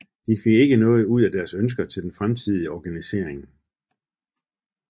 De fik ikke noget ud af deres ønsker til den fremtidige organisering